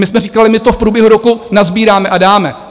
My jsme říkali: My to v průběhu roku nasbíráme a dáme.